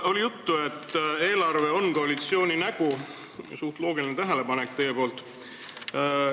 Oli juttu, et eelarve on koalitsiooni nägu – suhteliselt loogiline tähelepanek teie poolt.